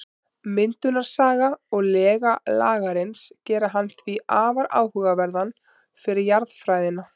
Myndunarsaga og lega Lagarins gera hann því afar áhugaverðan fyrir jarðfræðina.